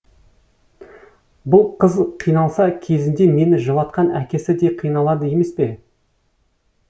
бұл қыз қиналса кезінде мені жылатқан әкесі де қиналады емес пе